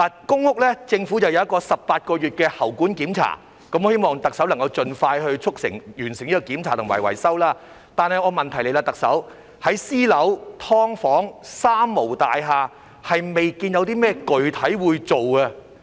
公屋方面，政府正推行為期18個月的排水管檢查計劃，我希望特首能夠盡快促成和完成這檢查及維修，但問題來了，特首，在私樓、"劏房"、"三無"大廈未見到有甚麼具體工作會進行。